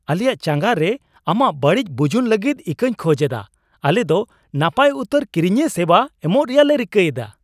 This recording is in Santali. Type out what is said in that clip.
ᱟᱞᱮᱭᱟᱜ ᱪᱟᱸᱜᱟ ᱨᱮ ᱟᱢᱟᱜ ᱵᱟᱹᱲᱤᱡ ᱵᱩᱡᱩᱱ ᱞᱟᱹᱜᱤᱫ ᱤᱠᱟᱹᱧ ᱠᱷᱚᱡ ᱮᱫᱟ ᱾ ᱟᱞᱮ ᱫᱚ ᱱᱟᱯᱟᱭ ᱩᱛᱟᱹᱨ ᱠᱤᱨᱤᱧᱤᱭᱟᱹ ᱥᱮᱵᱟ ᱮᱢᱚᱜ ᱨᱮᱭᱟᱜ ᱞᱮ ᱨᱤᱠᱟᱹᱭᱮᱫᱟ ᱾